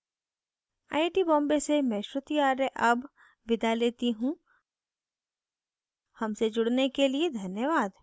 I I T Bombay से मैं श्रुति आर्य अब विदा लेती हूँ हमसे जुड़ने के लिए धन्यवाद